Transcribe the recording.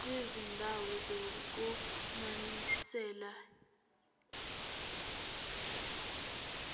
kwizindawo zokunonisela